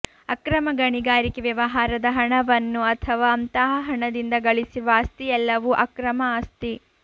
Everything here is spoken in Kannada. ಅಕ್ರಮ ಗಣಿಗಾರಿಕೆ ವ್ಯವಹಾರದ ಹಣವನ್ನು ಅಥವಾ ಅಂತಹ ಹಣದಿಂದ ಗಳಿಸಿರುವ ಆಸ್ತಿಯೆಲ್ಲವೂ ಅಕ್ರಮ ಆಸ್ತಿ